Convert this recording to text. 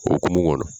O hokumu kɔnɔ